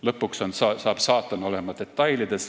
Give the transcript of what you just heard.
Lõpuks on saatan detailides.